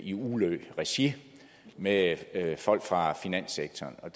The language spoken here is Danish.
i ulø regi med folk fra finanssektoren og